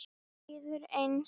Mér líður eins.